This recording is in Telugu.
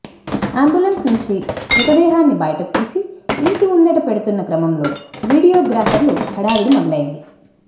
అంబులెన్స్ నుంచి మృతదేహాన్ని బయటకు తీసి ఇంటి ముందట పెడుతున్న క్రమంలో విడీయో గ్రాఫర్లు హడవుడి మొదలైంది